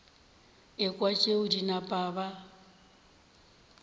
ekwa tšeo ba napa ba